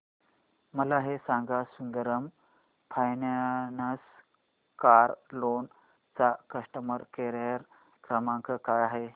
मला हे सांग सुंदरम फायनान्स कार लोन चा कस्टमर केअर क्रमांक काय आहे